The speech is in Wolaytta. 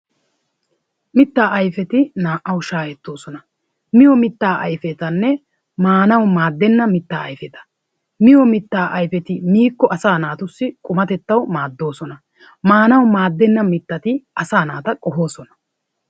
Mittaa ayfeti naa"awu shaahettoosona. Miyo mittaa ayfetanne maanawu maaddenna mittaa ayfeta. Miyo mittaa ayfeti miikko asaa naatussi qumatettawu maaddoosona. Maanawu maaddenna mittati asaa naata qohoosona.